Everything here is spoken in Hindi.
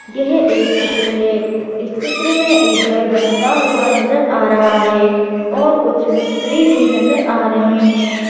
यह एक चित्र है इस चित्र में एक घर बनता हुआ नजर आ रहा है और कुछ मिस्त्री भी नजर आ रहे हैं।